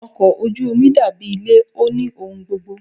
Ọkọ̀ ojú omi dàbí ilé, ó ní ohun gbogbo.